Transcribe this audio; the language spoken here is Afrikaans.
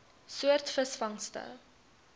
soort visvangste